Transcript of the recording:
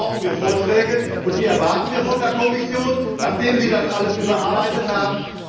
Deshalb brauchen wir Vorschläge, und die erwarten wir von der Kommission, nachdem Sie das alles überarbeitet haben.